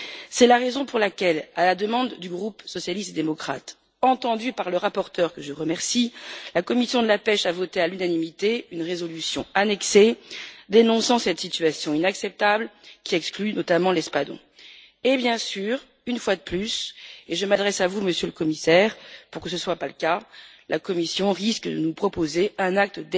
C'est la raison pour laquelle, à la demande du groupe socialiste démocrate, entendue par le rapporteur, que je remercie, la commission de la pêche a voté à l'unanimité une résolution annexée, dénonçant cette situation inacceptable qui exclut notamment l'espadon. Bien sûr, une fois de plus, et je m'adresse à vous Monsieur le Commissaire pour que cela ne soit pas le cas, la Commission risque de nous proposer un acte